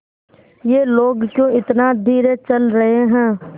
ये लोग क्यों इतना धीरे चल रहे हैं